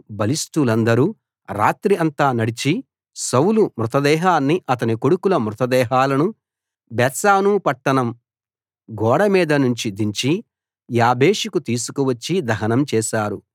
బలిష్టులందరు రాత్రి అంతా నడిచి సౌలు మృతదేహాన్ని అతని కొడుకుల మృతదేహాలను బేత్షాను పట్టణం గోడ మీద నుంచి దించి యాబేషుకు తీసుకువచ్చి దహనం చేశారు